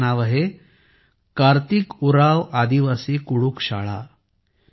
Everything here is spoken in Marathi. या शाळेचे नाव आहे कार्तिक उरांव आदिवासी कुडूख शाळा